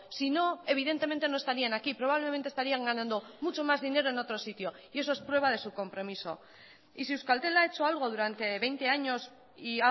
si no evidentemente no estarían aquí probablemente estarían ganando mucho más dinero en otro sitio y eso es prueba de su compromiso y si euskaltel ha hecho algo durante veinte años y